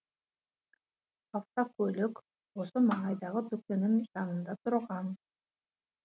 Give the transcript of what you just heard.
автокөлік осы маңайдағы дүкеннің жанында тұрған